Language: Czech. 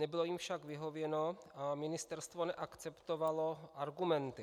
Nebylo jim však vyhověno a ministerstvo neakceptovalo argumenty.